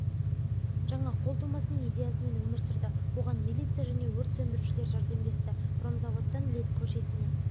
жаңа қол тумасының идеясымен өмір сүрді оған милиция және өрт сөндірушілер жәрдемдесті хромзаводтан лет көшесіне